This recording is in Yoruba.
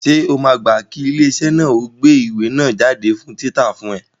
Ṣé o máa gbá kí ilé iṣẹ́ náà ó gbé ìwé náà jáde fún títa fún ẹ?